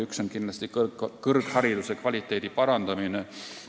Üks on kindlasti kõrghariduse kvaliteedi parandamine.